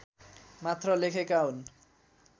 मात्र लेखेका हुन्